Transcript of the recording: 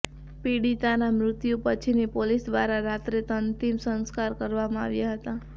પીડિતાના મૃત્યુ પછીની પોલીસ દ્વારા રાત્રે અંતિમ સંસ્કાર કરવામાં આવ્યા હતા